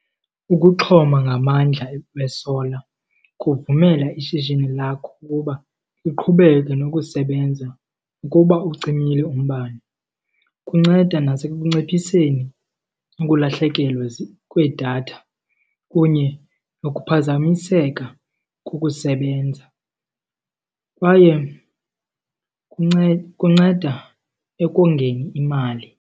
Ukuxhoma ngamandla be-solar kuvumela ishishini lakho ukuba liqhubeke nokusebenza nokuba ucimile umbane. Kunceda nasekunciphiseni ukulahlekelwe kwedatha kunye nokuphazamiseka kukusebenza, kwaye kunceda ekongeni imali.